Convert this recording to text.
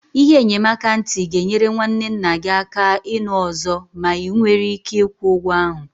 Ihe enyemaka ntị ga-enyere nwanne nna gị aka ịnụ ọzọ ma ị nwere ike ịkwụ ụgwọ ahụ.